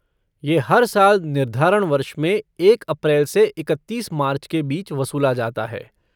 ये हर साल निर्धारण वर्ष में एक अप्रैल से इकत्तीस मार्च के बीच वसूला जाता है।